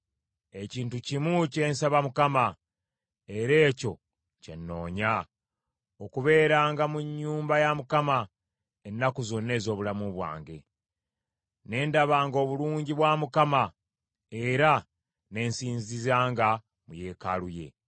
Ekintu kimu kye nsaba Mukama , era ekyo kye nnoonya: okubeeranga mu nnyumba ya Mukama ennaku zonna ez’obulamu bwange, ne ndabanga obulungi bwa Mukama , era ne nsinzizanga mu Yeekaalu ye.